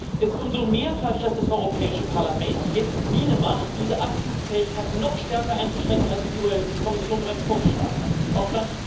Es ist umso mehr falsch, dass das Europäische Parlament jetzt Miene macht, diese Abzugsfähigkeit noch stärker einzuschränken als die Kommission bereits vorgeschlagen hat auf